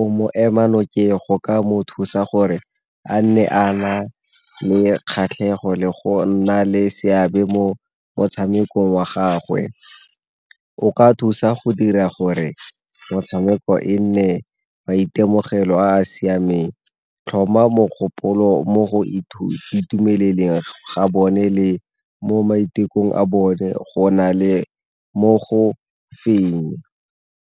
o mo ema nokeng go ka mo thusa gore a nne a na le kgatlhego le go nna le seabe mo motshamekong wa gagwe. O ka thusa go dira gore motshameko e nne maitemogelo a a siameng. Tlhoma mogopolo mo go itumeleleng ga bone le mo maitekong a bone go na le mo go feng.